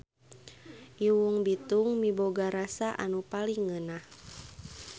Iwung bitung miboga rasa anu paling ngeunah.